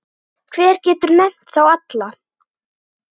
Hver getur nefnt þá alla?